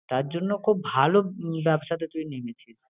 তার জন্য খুব ভালো ব্যবসাটা তুই নেমেছিস।